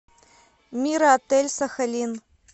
мира отель сахалин